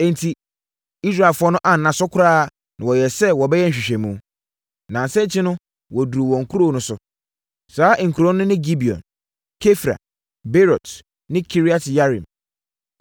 Enti, Israelfoɔ no anna so koraa na wɔyɛɛ sɛ wɔbɛyɛ nhwehwɛmu. Nnansa akyi no wɔduruu wɔn nkuro no so. Saa nkuro no ne Gibeon, Kefira, Beerot ne Kiriat-Yearim.